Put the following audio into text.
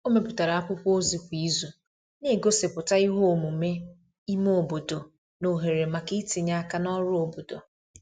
o meputara akwụkwo ozi kwa izu n'egosiputa ihe omume ime obodo na ohere maka itinye aka n'ọrụ obodo